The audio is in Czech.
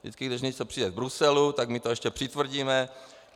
Vždycky když něco přijde z Bruselu, tak my to ještě přitvrdíme.